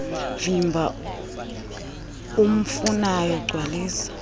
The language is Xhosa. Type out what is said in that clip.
vimba umfunayo gcwalisa